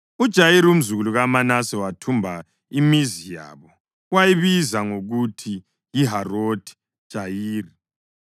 UJayiri, umzukulu kaManase, wathumba imizi yabo wayibiza ngokuthi yiHarothi Jayiri.